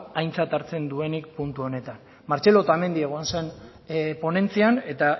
aintzat hartzen duenik puntu honetan martxelo otamendi egon zen ponentzian eta